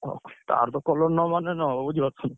ହଉ ତାର ତ colour ନମାଇଲେ ନ ହବ ବୁଝିପାରୁଛ।